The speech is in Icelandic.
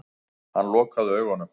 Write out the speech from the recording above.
Hann lokaði augunum.